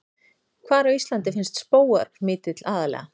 Hvar á Íslandi finnst skógarmítill aðallega?